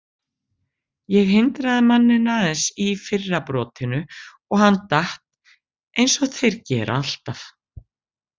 Ég hindraði manninn aðeins í fyrra brotinu og hann datt eins og þeir gera alltaf.